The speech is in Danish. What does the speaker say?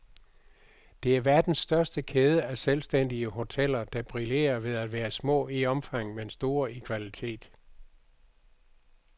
Det er verdens største kæde af selvstændige hoteller, der brillerer ved at være små i omfang, men store i kvalitet.